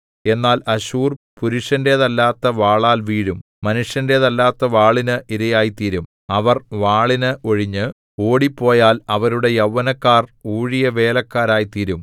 എന്നാൽ അശ്ശൂർ പുരുഷന്റേതല്ലാത്ത വാളാൽ വീഴും മനുഷ്യന്റേതല്ലാത്ത വാളിന് ഇരയായിത്തീരും അവർ വാളിന് ഒഴിഞ്ഞ് ഓടിപ്പോയാൽ അവരുടെ യൗവനക്കാർ ഊഴിയവേലക്കാരായിത്തീരും